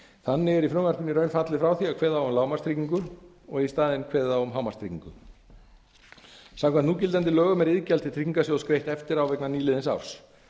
þannig er í frumvarpinu í raun fallið frá því að kveða á um lágmarkstryggingu og í staðinn kveðið á um hámarkstryggingu samkvæmt núgildandi lögum er iðgjald til tryggingarsjóðs greitt eftir á vegna nýliðins árs